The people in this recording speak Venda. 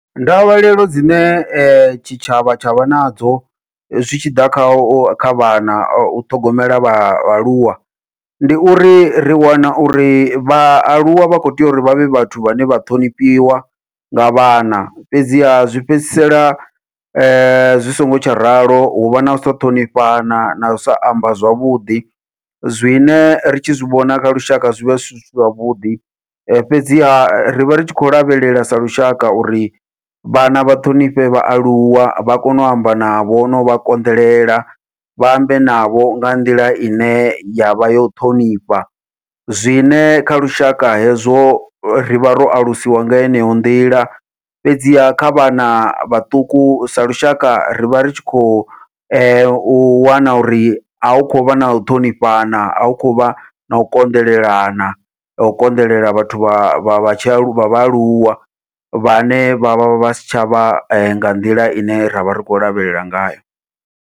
Ndavhelelo dzine tshitshavha tshavha nadzo zwitshiḓa kha u kha vhana u ṱhogomela vhaaluwa, ndi uri ri wana uri vhaaluwa vha kho tea uri vhavhe vhathu vhane vha ṱhonifhiwa nga vhana, fhedziha zwi fhedzisela zwi songo tsha ralo huvha nau sa ṱhonifhana nau sa amba zwavhuḓi, zwine ri tshi zwi vhona kha lushaka zwivha zwi si zwavhuḓi. Fhedziha rivha ri tshi khou lavhelela sa lushaka uri vhana vha ṱhonifhe vhaaluwa vha kone u amba navho novha konḓelela vha ambe navho nga nḓila ine yavha yo ṱhonifha, zwine kha lushaka hezwo rivha ro alusiwa nga heneyo nḓila fhedziha kha vhana vhaṱuku sa lushaka rivha ri tshi khou u wana uri ahu khou vha nau ṱhonifhana ahu khou vha nau konḓelelana nau konḓelela vhathu vha vha vha tshi aluwa vhaaluwa vhane vha vha vha si tshavha nga nḓila ine ravha ri khou lavhelela ngayo.